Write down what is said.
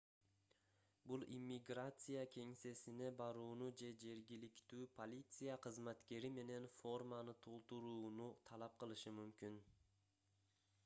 бул иммиграция кеңсесине барууну же жергиликтүү полиция кызматкери менен форманы толтурууну талап кылышы мүмкүн